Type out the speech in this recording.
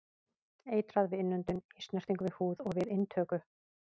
Eitrað við innöndun, í snertingu við húð og við inntöku.